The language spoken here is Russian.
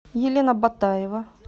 елена батаева